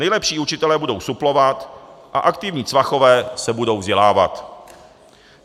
Nejlepší učitelé budou suplovat a aktivní Cvachové se budou vzdělávat.